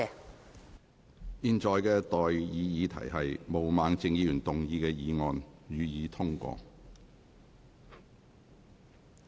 我現在向各位提出的待議議題是：毛孟靜議員動議的議案，予以通過。